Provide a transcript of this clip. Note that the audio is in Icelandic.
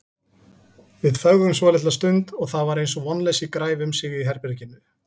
Við þögðum svolitla stund og það var eins og vonleysi græfi um sig í herberginu.